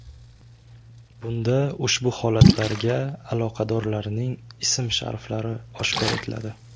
Bunda ushbu holatlarga aloqadorlarning ism-shariflari oshkor etiladi.